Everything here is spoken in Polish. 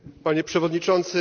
Panie Przewodniczący!